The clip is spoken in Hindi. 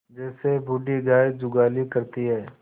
जैसे बूढ़ी गाय जुगाली करती है